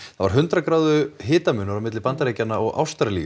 það var hundrað gráðu hitamunur milli Bandaríkjanna og Ástralíu